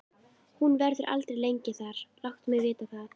Hún verður aldrei lengi þar, láttu mig vita það.